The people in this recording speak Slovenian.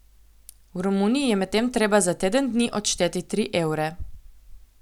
V Romuniji je medtem treba za teden dni odšteti tri evre.